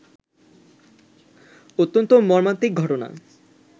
অত্যন্ত মর্মান্তিক ঘটনা